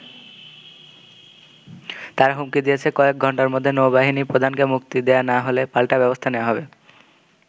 তারা হুমকি দিয়েছে, কয়েক ঘণ্টার মধ্যে নৌ-বাহিনী প্রধানকে মুক্তি দেয়া না হলে পাল্টা ব্যবস্থা নেয়া হবে।